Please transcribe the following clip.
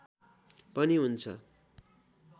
पनि हुन्छ